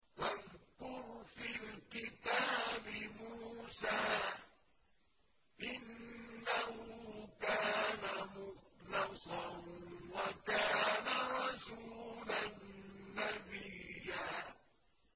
وَاذْكُرْ فِي الْكِتَابِ مُوسَىٰ ۚ إِنَّهُ كَانَ مُخْلَصًا وَكَانَ رَسُولًا نَّبِيًّا